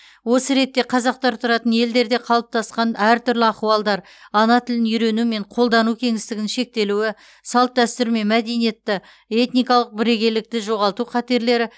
осы ретте қазақтар тұратын елдерде қалыптасқан әртүрлі ахуалдар ана тілін үйрену мен қолдану кеңістігінің шектелуі салт дәстүр мен мәдениетті этникалық бірегейлікті жоғалту қатерлері